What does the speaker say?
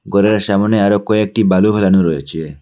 ঘরের সামনে আরো কয়েকটি বালু ফেলানো রয়েছে।